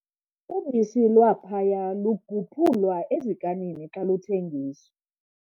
Ubisi lwaphaya luguphulwa ezikanini xa luthengiswa.